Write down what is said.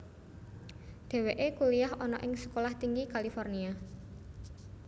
Dheweke kuliyah ana ing Sekolah Tinggi California